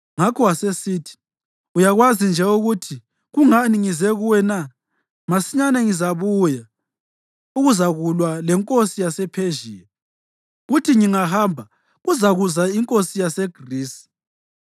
Ngakho wasesithi, “Uyakwazi nje ukuthi kungani ngize kuwe na? Masinyane ngizabuya ukuzakulwa lenkosi yasePhezhiya, kuthi ngingahamba, kuzakuza inkosi yaseGrisi;